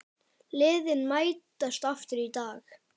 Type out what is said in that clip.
Liðin mætast aftur í dag.